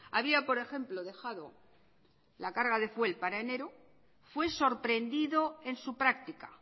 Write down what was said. había por ejemplo dejado la carga de fuel para enero fue sorprendido en su práctica